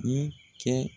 I kɛ